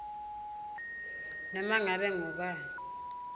noma ngabe ngubani